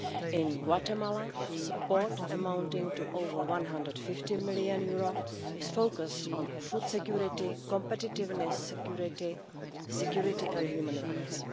In Guatemala support amounting to over EUR 150 million is focused on food security, competitiveness security, security and human rights.